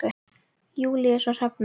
Júlíus og Hrefna.